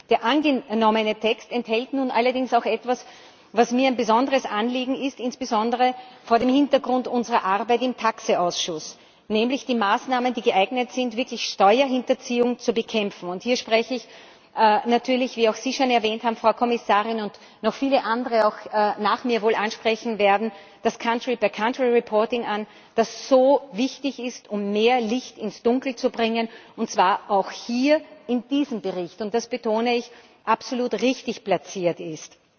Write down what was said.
Der angenommene Text enthält nun allerdings auch etwas, was mir ein besonderes Anliegen ist, insbesondere vor dem Hintergrund unserer Arbeit im TAXE Ausschuss nämlich die Maßnahmen, die geeignet sind, wirklich Steuerhinterziehung zu bekämpfen. Hier spreche ich natürlich wie auch Sie schon erwähnt haben, Frau Kommissarin, und noch viele andere auch nach mir wohl ansprechen werden das country by country reporting an, das so wichtig ist, um mehr Licht ins Dunkel zu bringen, und das auch hier in diesem Bericht, und das betone ich, absolut richtig platziert